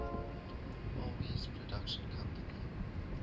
alby's production company